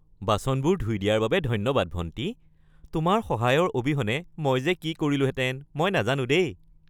বাচনবোৰ ধুই দিয়াৰ বাবে ধন্যবাদ ভণ্টী। তোমাৰ সহায়ৰ অবিহনে মই যে কি কৰিলোহেঁতেন মই নাজানো দেই।